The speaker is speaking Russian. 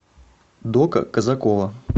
дока казакова